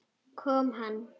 Kom hann?